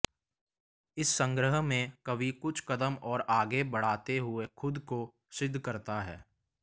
इस संग्रह में कवि कुछ कदम और आगे बढ़ाते हुए खुद को सिद्ध करता है